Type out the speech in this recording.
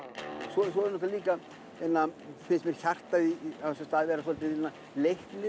svo finnst mér hjartað á þessum stað vera leiknir